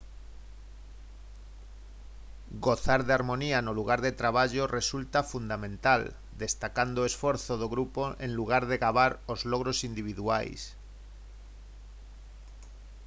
gozar de harmonía no lugar de traballo resulta fundamental destacando o esforzo do grupo en lugar de gabar os logros individuais